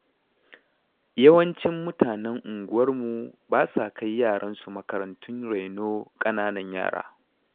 Yawancin mutanen unguwarmu ba sa kai yaransu makarantun raino ƙananan yara.